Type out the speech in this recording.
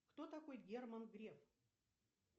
кто такой герман греф